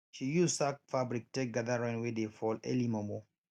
she use sack fabric take gather rain wey dey fall early mormor